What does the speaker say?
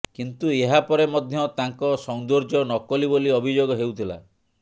କିନ୍ତୁ ଏହା ପରେ ମଧ୍ୟ ତାଙ୍କ ସୌନ୍ଦର୍ଯ୍ୟ ନକଲି ବୋଲି ଅଭିଯୋଗ ହେଉଥିଲା